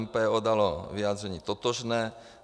MPO dalo vyjádření totožné.